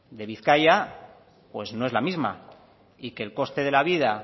de bizkaia no es la misma y que el coste de la vida